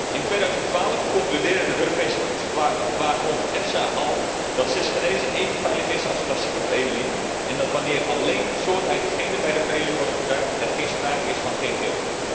In 2012 concludeerde de Europese voedselwaakhond EFSA al dat cisgenese even veilig is als klassieke veredeling en dat wanneer alleen soorteigen genen bij de veredeling worden gebruikt, er geen sprake is van ggo.